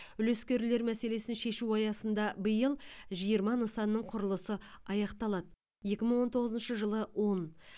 үлескерлер мәселесін шешу аясында биыл жиырма нысанның құрылысы аяқталады екі мың он тоғызыншы жылы он